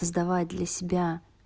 сдавать для себя